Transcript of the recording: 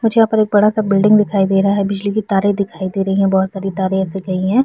मुझे यहाँ पर एक बड़ा सा बिल्डिंग दिखाई दे रहा है बिजली की तारे दिखाई दे रही है बहोत सारी तारे ऐसी गई है।